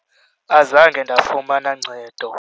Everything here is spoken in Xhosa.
Azange ndafumana ncedo.